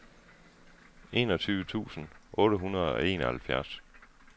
enogtyve tusind otte hundrede og enoghalvfjerds